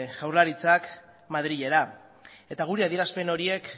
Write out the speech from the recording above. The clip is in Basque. jaurlaritzak madrilera eta guri adierazpen horiek